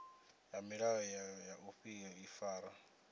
ya milayo ya u ifara